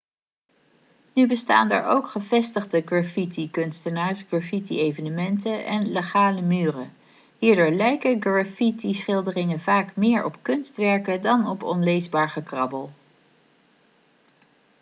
nu bestaan er ook gevestigde graffitikunstenaars graffiti-evenementen en legale' muren hierdoor lijken graffiti-schilderingen vaak meer op kunstwerken dan op onleesbaar gekrabbel